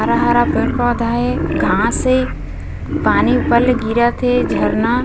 हरा-हरा पेड़-पौधा हे घाँस हे पानी ऊपर ले गिरत हे झरना--